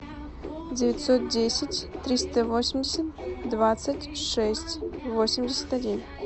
девятьсот десять триста восемьдесят двадцать шесть восемьдесят один